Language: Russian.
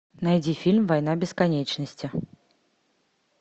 найди фильм война бесконечности